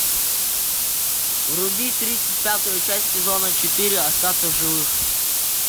вруби тридцать пятую часть сезона четыре остаться в живых